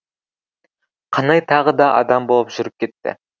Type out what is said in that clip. қанай тағы да адам болып жүріп кетті